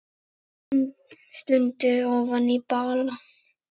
Stundi ofan í balann.